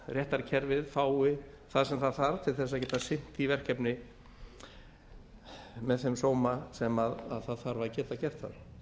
réttarkerfið fái það sem það þarf til að geta sinnt því verkefni með þeim sóma sem það þarf að geta gert